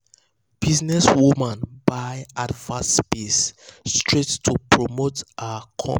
businesswoman buy advert space straight to promote her um company um